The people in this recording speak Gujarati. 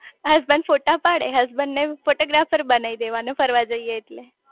હસબન્ડ ફોટા પાડે હસબન્ડ ને ફોટો ગ્રાફર બનાઈ દેવાનો ફરવા જઇયે એટલે